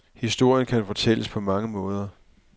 Historien kan fortælles på mange måder.